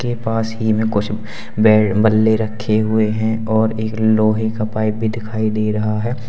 के पास ही में कुछ बैट बल्ले रखे हुए हैं और एक लोहे का पाइप भी दिखाई दे रहा है।